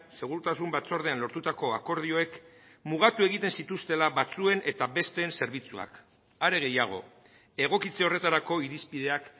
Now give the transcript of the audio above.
segurtasun batzordean lortutako akordioek mugatu egiten zituztela batzuen eta besteen zerbitzuak are gehiago egokitze horretarako irizpideak